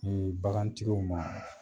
Un bagantigiw ma.